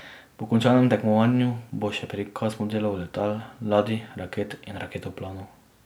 Po končanem tekmovanju bo še prikaz modelov letal, ladij, raket in raketoplanov.